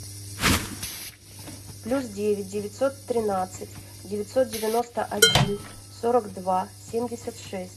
плюс девять девятьсот тринадцать девятьсот девяносто один сорок два семьдесят шесть